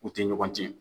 U tɛ ɲɔgɔn tiɲɛ